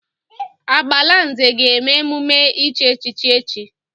Agbalanze ga-eme emume ichi echichi echi.